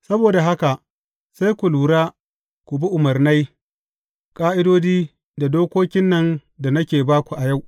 Saboda haka, sai ku lura, ku bi umarnai, ƙa’idodi, da dokokin nan da nake ba ku a yau.